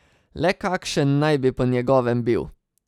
Le kakšen naj bi po njegovem bil?